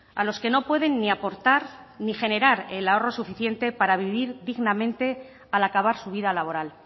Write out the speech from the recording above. a los que no pueden ni aportar ni generar el ahorro suficiente para vivir dignamente al acabar su vida laboral